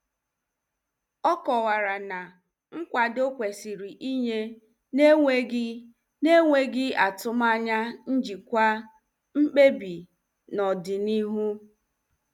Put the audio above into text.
Ọ kọwara na nkwado kwesịrị inye n'enweghị n'enweghị atụmanya njikwa mkpebi n'ọdịnihu.